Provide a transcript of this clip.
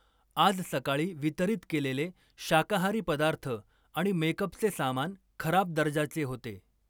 आज सकाळी वितरित केलेले शाकाहारी पदार्थ आणि मेकअपचे सामान खराब दर्जाचे होते.